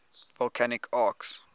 volcanic arcs